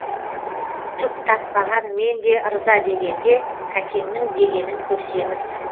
түк татпаған менде ырза дегенде кәкеңнің дегенін көрсеңіз